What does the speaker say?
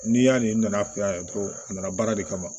N'i y'a ye n nana fɛ yan ko a nana baara de kama